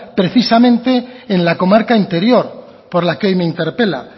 precisamente en la comarca interior por la que hoy me interpela